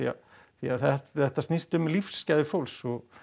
því að þetta snýst um lífsgæði fólks og